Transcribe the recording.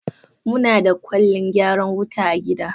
Muna da Kwalin gyaran wuta a gida.